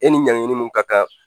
E ni ɲankiniw ka kan